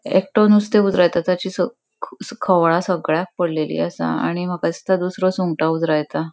एकटो नुस्ते उजरयता ताची स ख खोवळा सगळ्याक पडलेली असा आणि माका दिसता दूसरों सुंगटा उजरायता.